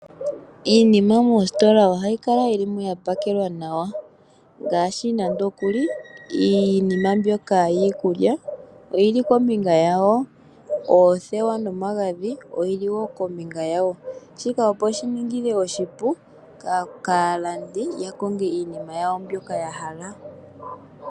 Iinima moositola ohayi kala yilimo yapakelwa nawa, ngaashi nande okuli iinima mbyoka yiikulya oyili kombinga yawo, oothewa nomagadhi oyili wo kombinga yawo. Shika opo shininge oshipu kaalandi yakonge iinima yawo mbyoka yahala.